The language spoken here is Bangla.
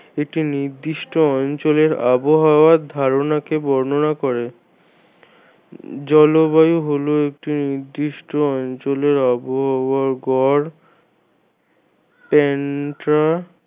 একটি নির্দিষ্ট অঞ্চলের আবহাওয়ার ধারণাকে বর্ণনা করে। জলবায়ু হল একটা নির্দিষ্ট অঞ্চলের আবহাওয়ার গড়